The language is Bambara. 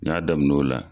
N y'a daminɛ o la